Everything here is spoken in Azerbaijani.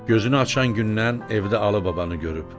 Gözünü açan gündən evdə Alıbabanı görüb.